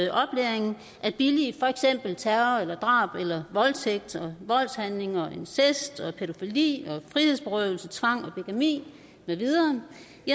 billige for eksempel terror og drab og voldtægt og voldshandlinger og incest og pædofili og frihedsberøvelse og tvang og bigami med videre